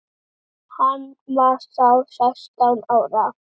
Hann var þá sextán ára.